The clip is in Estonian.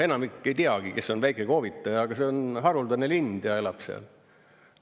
Enamik ei teagi, kes on väikekoovitaja, aga see on haruldane lind ja elab seal.